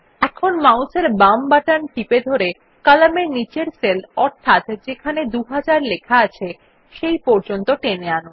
এখন মাউস এর বাম বাটন ধরে কলামের নীচের সেল অর্থাৎ যেখানে 2000 লেখা আছে সেই পর্যন্ত টেনে আনুন